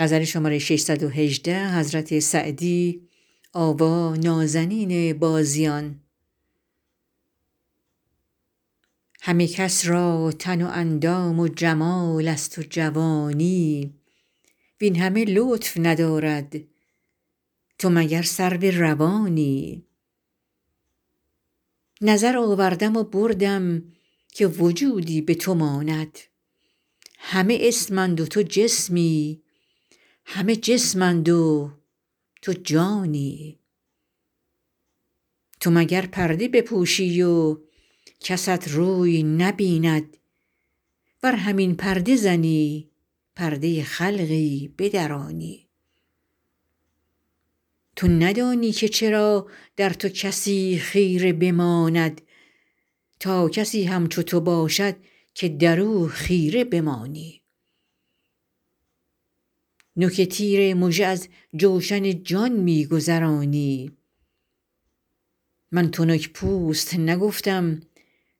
همه کس را تن و اندام و جمال است و جوانی وین همه لطف ندارد تو مگر سرو روانی نظر آوردم و بردم که وجودی به تو ماند همه اسم اند و تو جسمی همه جسم اند و تو جانی تو مگر پرده بپوشی و کست روی نبیند ور همین پرده زنی پرده خلقی بدرانی تو ندانی که چرا در تو کسی خیره بماند تا کسی همچو تو باشد که در او خیره بمانی نوک تیر مژه از جوشن جان می گذرانی من تنک پوست نگفتم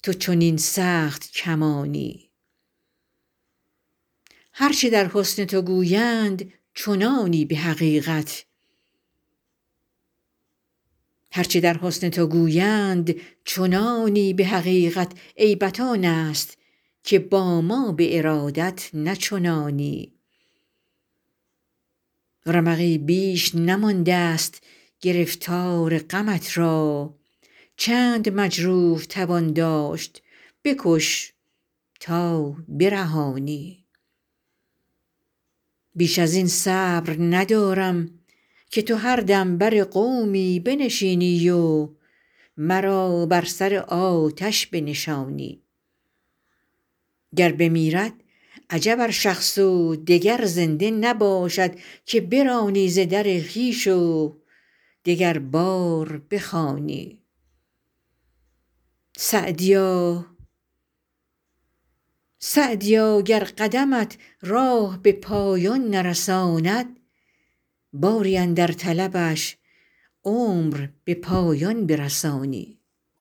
تو چنین سخت کمانی هر چه در حسن تو گویند چنانی به حقیقت عیبت آن است که با ما به ارادت نه چنانی رمقی بیش نمانده ست گرفتار غمت را چند مجروح توان داشت بکش تا برهانی بیش از این صبر ندارم که تو هر دم بر قومی بنشینی و مرا بر سر آتش بنشانی گر بمیرد عجب ار شخص و دگر زنده نباشد که برانی ز در خویش و دگربار بخوانی سعدیا گر قدمت راه به پایان نرساند باری اندر طلبش عمر به پایان برسانی